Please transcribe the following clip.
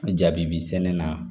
Jaabi bi sɛnɛ na